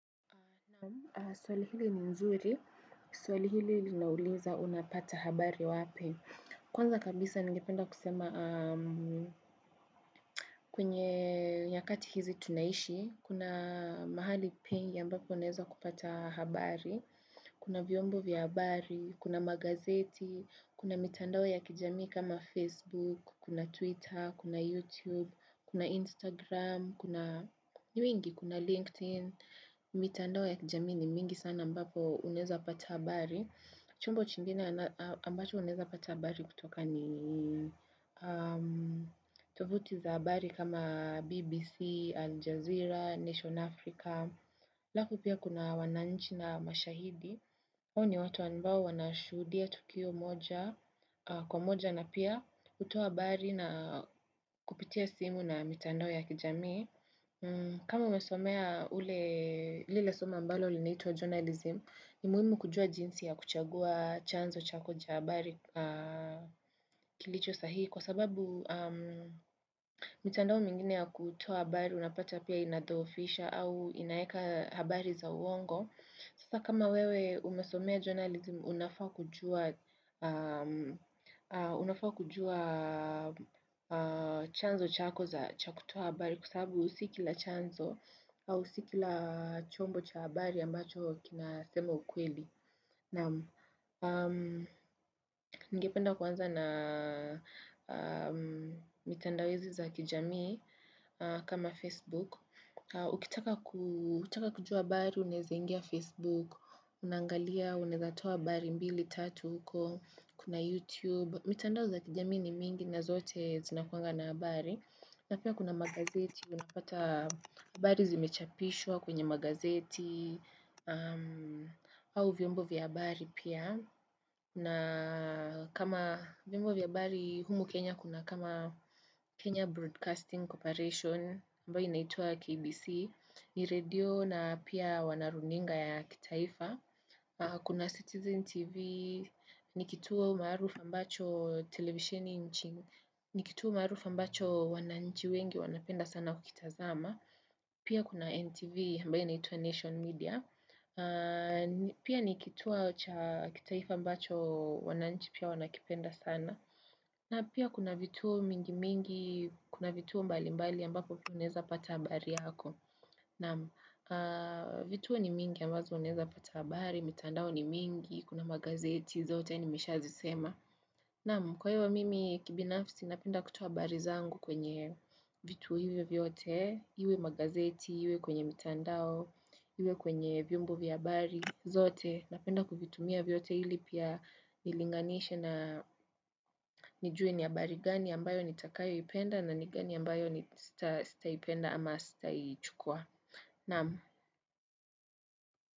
Swali hili ni mzuri. Suali hili linauliza unapata habari wape. Kwanza kabisa nige penda kusema kwenye nyakati hizi tunaishi. Kuna mahali pia mbapo uneza kupata habari. Kuna vyombo vya habari, kuna magazeti, kuna mitandao ya kijamii kama Facebook, kuna twitter, kuna youtube, kuna instagram, kuna linkedin, mitandao ya kijamii ni mingi sana ambapo unaeza pata habari. Chombo chingine ambacho uneza pata habari kutoka ni tovuti za habari kama BBC, Al Jazeera, Nation Africa. Alafu pia kuna wananchi na mashahidi hao ni watu ambao wanashuhudia tukio moja Kwa moja na pia hutua habari na kupitia simu na mitandao ya kijamii kama umesomea ule lile somo mbalo linaitwa journalism ni muhimu kujua jinsi ya kuchagua chanzo chako cha habari kilicho sahihi Kwa sababu mitandao mingine ya kutoa habari Unapata pia inadhoofisha au inaeka habari za uongo. Sasa kama wewe umesomea journalism, unafaa kujua chanzo chako za cha kutoa habari kusabu si kila chanzo au si kila chombo cha habari ambacho kinasema ukweli. Naam ningependa kwanza na mitandao hizi za kijamii kama Facebook. Ukitaka kujua habari, uneza ingia Facebook, unaangalia, unezatoa habari, mbili, tatu huko, kuna YouTube. Mitandao za kijamii ni mingi na zote zinakuanga na habari. Na pia kuna magazeti, unapata bari zimechapishwa kwenye magazeti, au vyombo vya habari pia. Na kama vyombo vya habari humu Kenya kuna kama Kenya Broadcasting Corporation ambayo inaitwa KBC ni radio na pia wana runinga ya kitaifa Kuna Citizen TV ni kituo marufa mbacho televisioni nchini ni kituo marufa mbacho wananchi wengi wanapenda sana kukitazama Pia kuna NTV mbae naitua Nation Media Pia ni kituo cha kitaifa ambacho wananchi pia wanakipenda sana na pia kuna vituo mingi mingi, kuna vituo mbali mbali ambapo vioneza pata habari yako Naam, vituo ni mingi ambazo vioneza pata habari, mitandao ni mingi, kuna magazeti zote ni mishazisema Nam, kwa hiyo mimi kibinafsi napinda kutua bari zangu kwenye vituo hivyo vyote Iwe magazeti, iwe kwenye mitandao, iwe kwenye viumbo vya habari, zote, napenda kuvitumia vyote ili pia nilinganisha na nijue ni ya habari gani ambayo nitakayoipenda na ni gani ambayo sitaipenda ama sitaichukua. Naam.